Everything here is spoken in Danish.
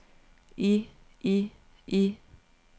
i i i